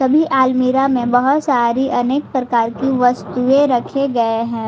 सभी अलमीरा में बहुत सारी अनेक प्रकार की वस्तुएं रखे गए हैं।